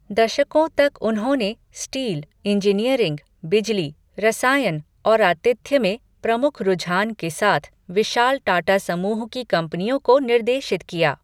दशकों तक उन्होंने स्टील, इंजीनियरिंग, बिजली, रसायन और आतिथ्य में प्रमुख रुझान के साथ विशाल टाटा समूह की कंपनियों को निर्देशित किया।